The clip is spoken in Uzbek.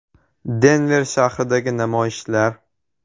Denver shahridagi namoyishlar.